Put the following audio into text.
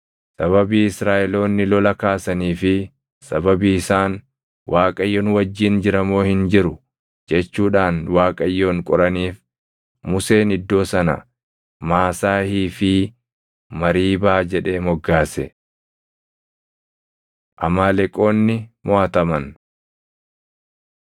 Sababii Israaʼeloonni lola kaasanii fi sababii isaan, “ Waaqayyo nu wajjin jira moo hin jiru?” jechuudhaan Waaqayyoon qoraniif Museen iddoo sana Maasaahii fi Mariibaa jedhee moggaase. Amaaleqoonni Moʼataman